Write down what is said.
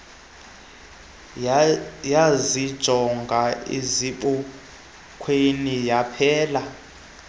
yazijonga esibukweni yaphela